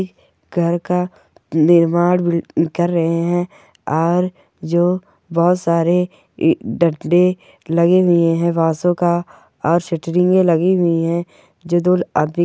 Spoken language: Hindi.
घर का निर्माण ब कर रहे है और जो बहोत सारे डंडे लगे हुए है बांसों का और सैट्रिंगे लगी हुई है जों दो आदमी --